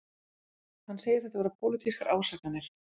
Hann segir þetta vera pólitískar ásakanir